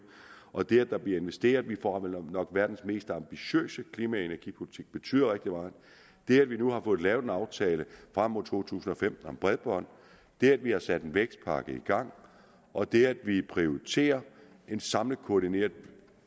og det der bliver investeret vi får jo nok verdens mest ambitiøse klima og energipolitik betyder rigtig meget det at vi nu har fået lavet en aftale frem mod to tusind og femten om bredbånd det at vi har sat en vækstpakke i gang og det at vi prioriterer en samlet koordineret